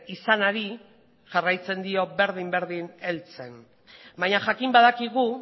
izanari jarraitzen dio berdin berdin heltzen baina jakin badakigu